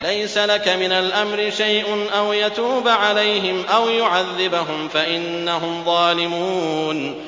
لَيْسَ لَكَ مِنَ الْأَمْرِ شَيْءٌ أَوْ يَتُوبَ عَلَيْهِمْ أَوْ يُعَذِّبَهُمْ فَإِنَّهُمْ ظَالِمُونَ